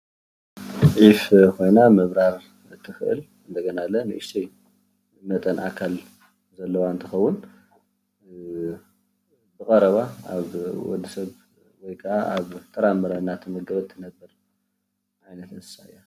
ዒፍ ኮይና ምብራር ትክእል እንደገና ለ ንእሽተይ መጠን ኣካል ዘለዋ እንትትከውን ብቐረባ ኣብ ወዲ ሰብ ወይ ከዓ ኣብ ጥራምረ እንዳተመገበት እትነብር ዓይነት እንስሳ እያ፡፡